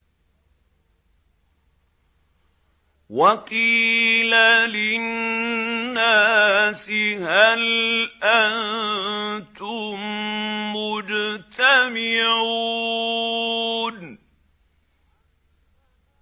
وَقِيلَ لِلنَّاسِ هَلْ أَنتُم مُّجْتَمِعُونَ